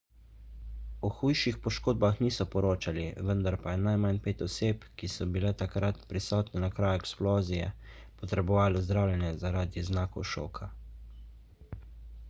o hujših poškodbah niso poročali vendar pa je najmanj pet oseb ki so bile takrat prisotne na kraju eksplozije potrebovalo zdravljenje zaradi znakov šoka